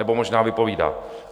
Nebo možná vypovídá...